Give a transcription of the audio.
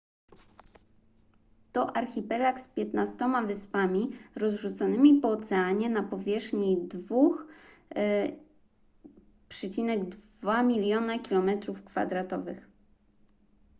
to archipelag z 15 wyspami rozrzuconymi po oceanie na powierzchni 2,2 miliona km²